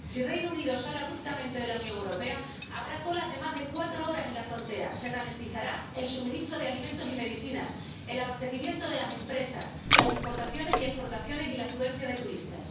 Si el Reino Unido sale abruptamente de la Unión Europea, habrá colas de más de cuatro horas en la frontera, se ralentizará el suministro de alimentos y medicinas, el abastecimiento de las empresas, las importaciones y exportaciones y la afluencia de turistas.